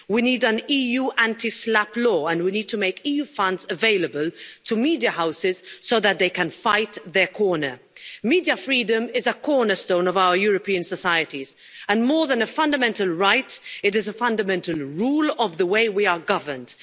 We need an EU anti SLAPP law and we need to make EU funds available to media houses so that they can fight their corner. Media freedom is a cornerstone of our European societies and more than a fundamental right, it is a fundamental rule of the way we are governed.